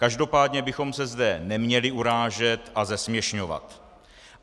Každopádně bychom se zde neměli urážet a zesměšňovat.